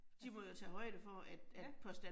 Altså. Ja